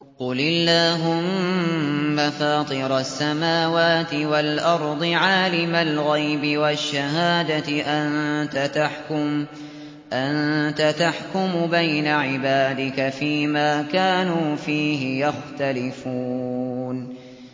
قُلِ اللَّهُمَّ فَاطِرَ السَّمَاوَاتِ وَالْأَرْضِ عَالِمَ الْغَيْبِ وَالشَّهَادَةِ أَنتَ تَحْكُمُ بَيْنَ عِبَادِكَ فِي مَا كَانُوا فِيهِ يَخْتَلِفُونَ